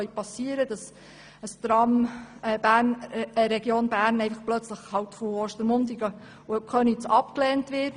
Dazu gehört etwa, dass ein Tramprojekt auf einmal in einer Abstimmung abgelehnt wird.